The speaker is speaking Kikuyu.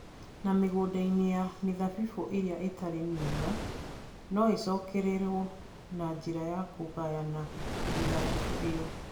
Na mĩgũnda-inĩ ya mĩthabibũ ĩrĩa ĩtarĩ mĩega, no ĩcokererũo na njĩra ya kũgayana mĩthabibũ ĩyo